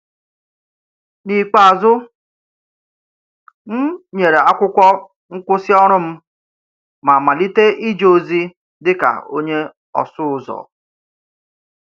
N’ikpeazụ, m nyèrè akwụkwọ nkwụsị ọrụ m ma malite ije ozi dịka onye ọsụ ụzọ